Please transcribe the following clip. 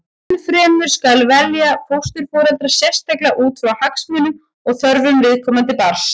Enn fremur skal velja fósturforeldra sérstaklega út frá hagsmunum og þörfum viðkomandi barns.